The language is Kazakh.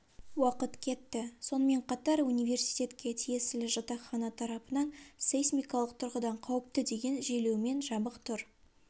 уақыт кетті сонымен қатар университетке тиесілі жатақхана тарапынан сейсмикалық тұрғыдан қауіпті деген желеумен жабық тұр